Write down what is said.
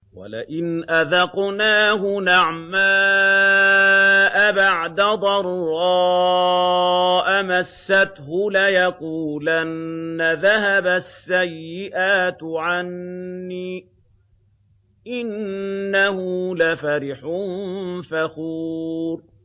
وَلَئِنْ أَذَقْنَاهُ نَعْمَاءَ بَعْدَ ضَرَّاءَ مَسَّتْهُ لَيَقُولَنَّ ذَهَبَ السَّيِّئَاتُ عَنِّي ۚ إِنَّهُ لَفَرِحٌ فَخُورٌ